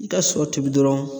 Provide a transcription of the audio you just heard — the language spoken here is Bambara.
I ka sɔ tobi dɔrɔn